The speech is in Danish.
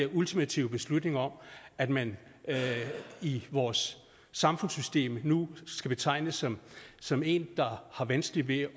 ultimative beslutning om at man i vores samfundssystem nu skal betegnes som som en der har vanskeligt ved